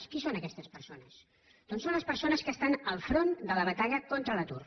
qui són aquestes persones doncs són les persones que estan al front de la batalla contra l’atur